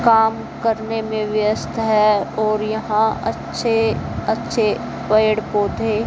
काम करने में व्यस्त हैं और यहां अच्छे अच्छे पेड़ पौधे--